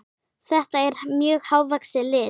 Þetta er mjög hávaxið lið.